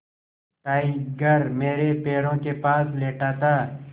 tiger मेरे पैरों के पास लेटा था